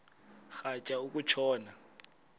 rhatya uku tshona